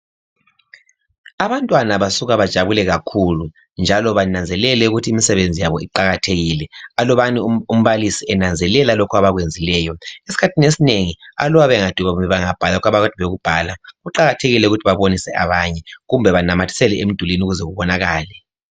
Abantwana basuke bajabule kakhulu njalo bananzelele ukuthi imisebenzi yabo iqakathekile alubana umbalisi enanzelela lokhu abakwenzileyo. Esikhathini esinengi aluba bengadubeka bebhala lokhu akade bekubhala kuqakathekile ukuthi babonise abanye kumbe banamathisele emdulwini ukuze kubonakale.